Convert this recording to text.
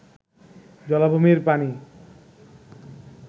জলাভূমির পানি